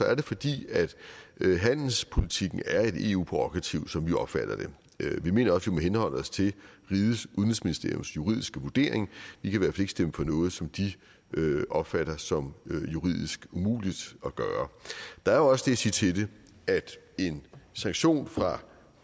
er det fordi handelspolitikken er et eu prærogativ sådan som vi opfatter det vi mener også må henholde os til udenrigsministeriets juridiske vurdering vi kan i stemme for noget som de opfatter som juridisk umuligt at gøre der er også det at sige til det at en sanktion fra